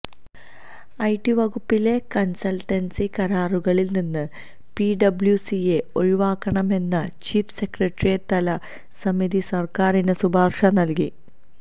IT വകുപ്പിലെ consultancy കരാറുകളില് നിന്ന് പിഡബ്ല്യുസിയെ ഒഴിവാക്കണമെന്ന് ചീഫ് സെക്രട്ടറിതല സമിതി സര്ക്കാരിന് ശുപാര്ശ നല്കി